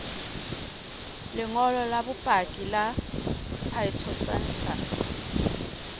lengolo la bopaki la phytosanitary